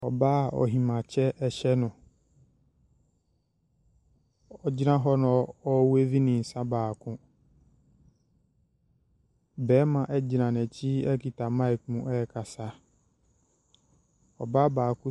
Ɔbaa a ahemaa kyɛ hyɛ no. Ogyina na ɔreweevi ne nsa baako. Barima gyina n’akyi kita mic mu ɛrekasa. Ɔbaa baako .